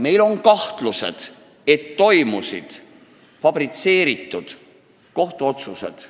Meil on kahtlused, et said teoks fabritseeritud kohtuotsused.